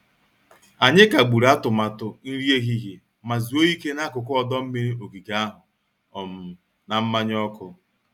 Anyị kagburu atụmatụ nri ehihie ma zuo ike n'akụkụ ọdọ mmiri ogige ahụ um na mmanya ọkụ.